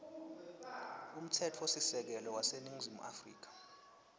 umtsetfosisekelo waseningizimu afrika